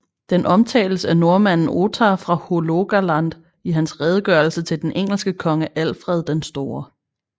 Den omtales af nordmanden Ottar fra Hålogaland i hans redegørelse til den engelske konge Alfred den Store